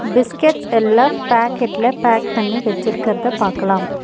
Biscuits எல்லா பாக்கெட்ல pack பண்ணி வச்சிர்கறத பாக்கலாம்.